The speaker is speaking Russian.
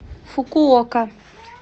фукуока